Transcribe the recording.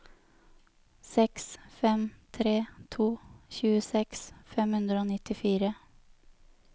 seks fem tre to tjueseks fem hundre og nittifire